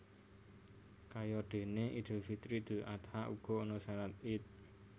Kayadene Idul Fitri Idul Adha uga ana shalat Ied